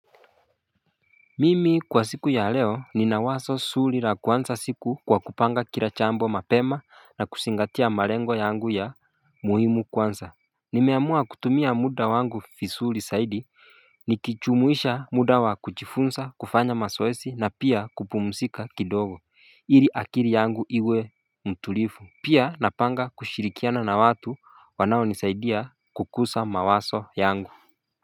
Mimi kwa siku ya leo nina wazo zuri la kuanza siku kwa kupanga kila jambo mapema na kuzingatia malengo yangu ya muhimu kwanza Nimeamua kutumia muda wangu visuri zaidi Nikijumuisha muda wa kujifunza kufanya mazoezi na pia kupumzika kidogo ili akili yangu iwe mtulivu Pia napanga kushirikiana na watu wanaonisaidia kukuza mawazo yangu.